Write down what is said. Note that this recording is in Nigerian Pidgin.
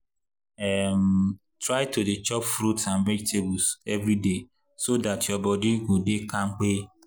um try to dey chop fruit and vegetables every day so dat your body go dey kampe.